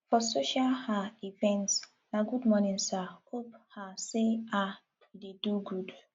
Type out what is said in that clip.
for social um event na good morning sir hope um say um you do good